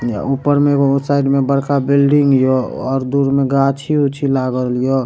ऊपर मे एगो साइड मे बड़का बिल्डिंग यो और दूर मे गाछी-उछी लागल यो।